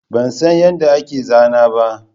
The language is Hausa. Ban san yadda ake zana ba